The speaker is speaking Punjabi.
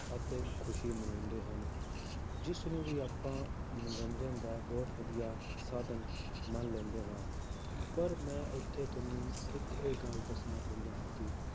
ਅਤੇ ਖ਼ੁਸ਼ੀ ਮਨਾਉਂਦੇ ਹਨ, ਜਿਸ ਨੂੰ ਵੀ ਆਪਾਂ ਮਨੋਰੰਜਨ ਦਾ ਬਹੁਤ ਵਧੀਆ ਸਾਧਨ ਮੰਨ ਲੈਂਦੇ ਹਾਂ ਪਰ ਮੈਂ ਉੱਥੇ ਤੁਹਾਨੂੰ ਇੱਕ ਇਹ ਗੱਲ ਦੱਸਣਾ ਚਾਹੁੰਦਾ ਹਾਂ ਕਿ